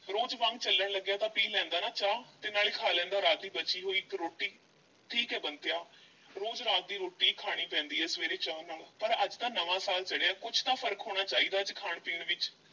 ਰੋਜ਼ ਵਾਂਗ ਚੱਲਣ ਲੱਗਿਆ ਤਾਂ ਪੀ ਲੈਂਦਾ ਨਾ ਚਾਹ ਤੇ ਨਾਲੇ ਖਾ ਲੈਂਦਾ ਰਾਤ ਦੀ ਬਚੀ ਹੋਈ ਇੱਕ ਰੋਟੀ, ਠੀਕ ਐ ਬੰਤਿਆ ਰੋਜ਼ ਰਾਤ ਦੀ ਰੋਟੀ ਈ ਖਾਣੀ ਪੈਂਦੀ ਐ ਸਵੇਰੇ ਚਾਹ ਨਾਲ, ਪਰ ਅੱਜ ਤਾਂ ਨਵਾਂ ਸਾਲ ਚੜ੍ਹਿਆ, ਕੁਛ ਤਾਂ ਫ਼ਰਕ ਹੋਣਾ ਚਾਹੀਦਾ ਅੱਜ ਖਾਣ-ਪੀਣ ਵਿੱਚ।